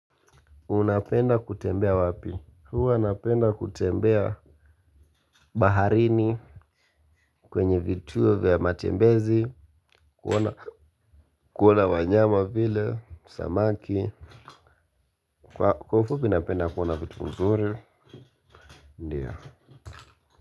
Unapenda kutembea wapi? Huwa napenda kutembea. Baharini kwenye vituo vya matembezi Kuona Kuona wanyama vile Samaki. Kwa ufupi napenda kuona vitu nzuri. Ndiyo.